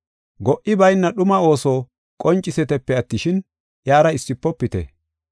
Go77i bayna dhuma ooso qoncisitepe attishin, iyara issifopite.